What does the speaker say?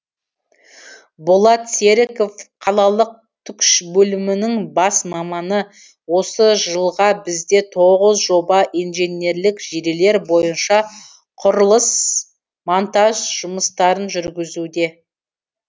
болат серіков қалалық түкш бөлімінің бас маманы осы жылға бізде тоғыз жоба инженерлік желілер бойынша құрылыс монтаж жұмыстарын жүрігізуде